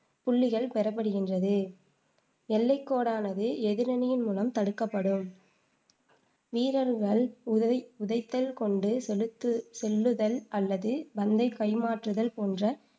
புள்ளிகள் பெறப்படுகின்றது எல்லைக் கோடானது எதிரணியின் மூலம் தடுக்கப்படும் வீரர்கள் உதை உதைத்தல், கொண்டு செலுத்து செல்லுதல் அல்லது பந்தைக் கைமாற்றுதல் போன்ற